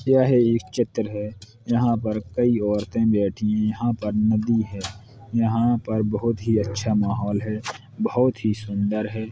यह एक चित्र है यहाँ पर कई औरतें बैठीं हैं यहाँ पर नदी है यहाँ पर बहुत ही अच्छा माहौल है बहुत ही सुन्दर है।